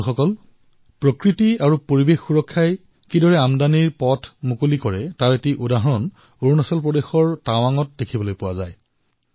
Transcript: বন্ধুসকল পৰিবেশৰ সুৰক্ষাৰ জৰিয়তে কিদৰে আমদানীৰ পথ মুকলি হয় ইয়াৰ এক উদাহৰণ অৰুণাচল প্ৰদেশৰ টাৱাঙত দেখিবলৈ পোৱা গৈছে